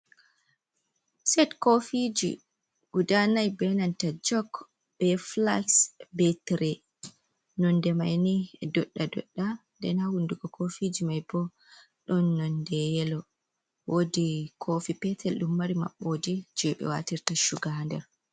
Set koofiiji gudaa nai be nanta jok, be flas, be tire nonde mai ni doɗɗa-doɗɗa, nden ha hunduko koofiiji mai bo ɗon nonde yelo, woodi koofi petel ɗum mari maɓɓoode je ɓe waatirta chuga ha nder.